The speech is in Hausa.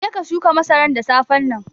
Je ka shuka masaran da safen nan.